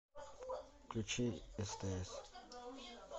включи стс